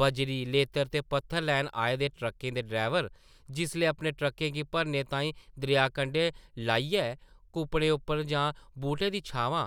बजरी, लेतर ते पत्थर लैन आए दे ट्रक्कें दे ड्रैवर जिसलै अपने ट्रक्कें गी भरने ताईं दरेआ कंढै लाइयै कुप्पड़ें उप्पर जां बूह्टें दी छांमां